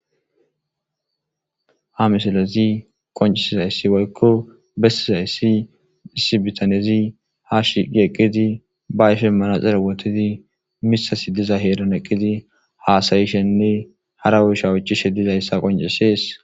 Ha misalezi qoncisiza yssi woykko bessiza yssi issi bitanezi ha shidi eqqidi ba ife manaxere wotidi misasi diza heeran eqqidi haasayishenne harawushawuchishe dizayssa qoncisees.